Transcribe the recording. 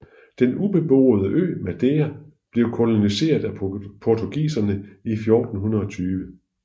Den ubeboede ø Madeira blev koloniseret af portugiserne i 1420